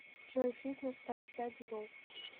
джой фитнес таймстади ру